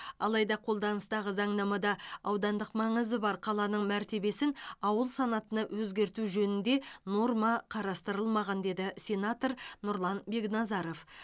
алайда қолданыстағы заңнамада аудандық маңызы бар қаланың мәртебесін ауыл санатына өзгерту жөнінде норма қарастырылмаған деді сенатор нұрлан бекназаров